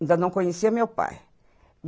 Ainda não conhecia meu pai.